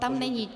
Tam není.